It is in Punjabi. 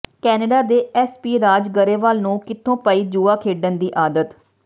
ਕੈਨੇਡਾ ਦੇ ਐਮਪੀ ਰਾਜ ਗਰੇਵਾਲ ਨੂੰ ਕਿੱਥੋਂ ਪਈ ਜੂਆ ਖੇਡਣ ਦੀ ਆਦਤ